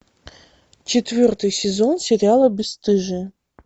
четвертый сезон сериала бесстыжие